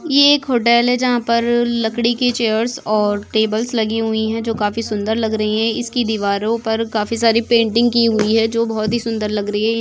ये एक हॉटेल है जहा पर लकड़ी के चेयर्स और टेबल्स लगी हुई है जो खाफी सुंदर लग रही है इसकी दीवारों पर खाफी सारी पैंटिंग की हुई है जो बहुत ही सुंदर लग रही है।